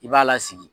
I b'a lasigi